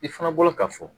I fana bolo ka fɔ